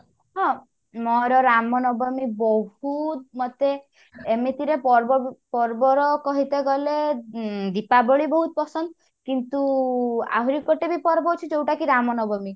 ହଁ ମୋର ରାମନବମୀ ବହୁତ ମୋତେ ଏମିତି ରେ ପର୍ବ ପର୍ବର କହିତେ ଗଲେ ଉଁ ଦୀପାବଳି ବହୁତ ପସନ୍ଦ କିନ୍ତୁ ଆହୁରି ଗୋଟେ ବି ପର୍ବ ଅଛି ଯଉଟା କି ରାମନବମୀ